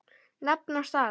Nafn og staða?